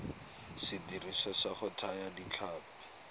sediriswa sa go thaya ditlhapi